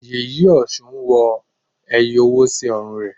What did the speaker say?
Yèyé Ọ̀ṣun ń wọ owó ẹyọ sí ọrùn rẹ̀.